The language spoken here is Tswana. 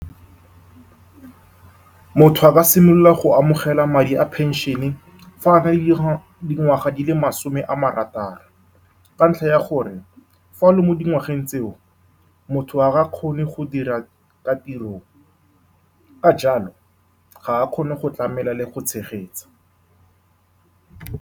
Motho a ba a simolola go amogela madi a pension-e fa a na le di di ngwaga di le masome a marataro, ka ntlha ya gore fa o le mo di ngwageng tseo, motho ga a kgone go dira ka tirong, ka jalo, ga a kgone go tlamela le go tshegetsa.